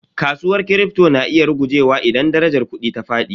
Kasuwar Kripto na iya rugujewa idan darajar kudi ta fadi.